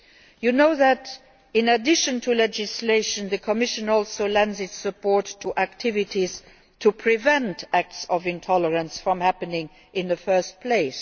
You know that in addition to legislation, the Commission also lends its support to activities to prevent acts of intolerance from happening in the first place.